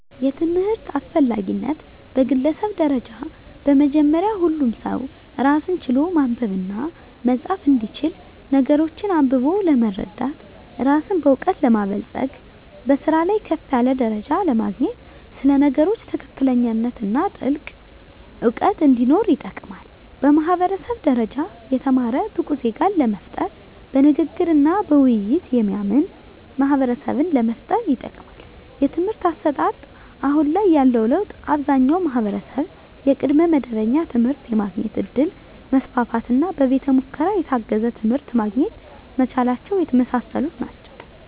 የትምህርት አስፈላጊነት በግለሰብ ደረጃ በመጀመሪያ ሁሉም ሰው ራስን ችሎ ማንበብና መፃፍ እንዲችል ነገሮችን አንብቦ ለመረዳት ራስን በእውቀት ለማበልፀግ በስራ ላይ ከፍ ያለ ደረጃ ለማግኘት ስለ ነገሮች ትክክለኛነትና ጥልቅ እውቀት እንዲኖር ይጠቅማል። በማህበረሰብ ደረጃ የተማረ ብቁ ዜጋን ለመፍጠር በንግግርና በውይይት የሚያምን ማህበረሰብን ለመፍጠር ይጠቅማል። የትምህርት አሰጣጥ አሁን ላይ ያለው ለውጥ አብዛኛው ማህበረሰብ የቅድመ መደበኛ ትምህርት የማግኘት እድል መስፋፋትና በቤተ ሙከራ የታገዘ ትምህርት ማግኘት መቻላቸው የመሳሰሉት ናቸው።